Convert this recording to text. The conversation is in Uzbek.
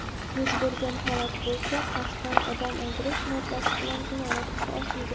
Yuz bergan holat bo‘yicha "Qasddan odam o‘ldirish" moddasi bilan jinoyat ishi ochilgan.